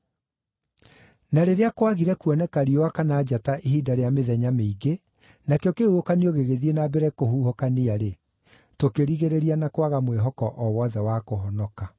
Na rĩrĩa kwaagire kuoneka riũa kana njata ihinda rĩa mĩthenya mĩingĩ, nakĩo kĩhuhũkanio gĩgĩthiĩ na mbere kũhuhũkania-rĩ, tũkĩrigĩrĩria na kwaga mwĩhoko o wothe wa kũhonoka.